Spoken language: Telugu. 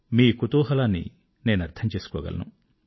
మీ కుతూహలాన్ని నేనర్థం చేసుకోగలను